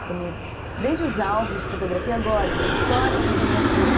Fica meio... Desde os álbuns de fotografia agora, você me escolhe fotografias.